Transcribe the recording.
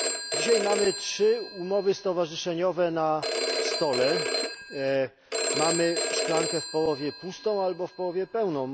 Dzisiaj mamy trzy umowy stowarzyszeniowe na stole, mamy szklankę w połowie pustą albo w połowie pełną.